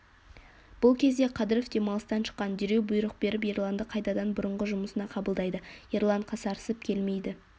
бұл кезде қадыров демалыстан шыққан дереу бұйрық беріп ерланды қайтадан бұрынғы жұмысына қабылдайды ерлан қасарысып келмейді